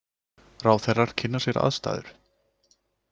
Ráðherrar kynna sér aðstæður